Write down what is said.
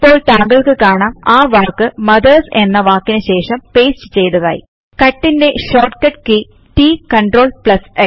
ഇപ്പോൾ താങ്കൾക്ക് കാണാം ആ വാക്ക് മദർസ് എന്ന വാക്കിന് ശേഷം പേസ്റ്റ് ചെയ്തതായി കട്ട് ന്റെ short cut key T CRLX